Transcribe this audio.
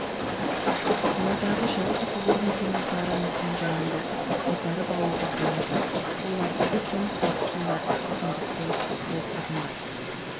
қаладағы жалғыз орын кенесары мекенжайында қайтарып алуға болады олар тек жұмыс уақытында істейтіндіктен бұл тұрғындар